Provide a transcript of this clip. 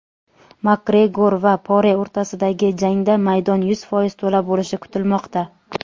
Makgregor va Pore o‘rtasidagi jangda maydon yuz foiz to‘la bo‘lishi kutilmoqda.